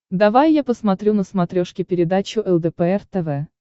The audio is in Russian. давай я посмотрю на смотрешке передачу лдпр тв